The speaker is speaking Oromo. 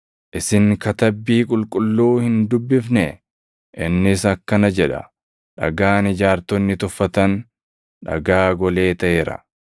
Isin Katabbii Qulqulluu hin dubbifnee? Innis akkana jedha: “ ‘Dhagaan ijaartonni tuffatan, dhagaa golee taʼeera;